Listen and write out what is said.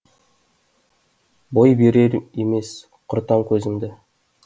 бой берер емес құртам көзіңді